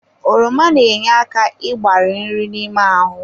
Oroma na-enye aka igbari nri n'ime ahụ.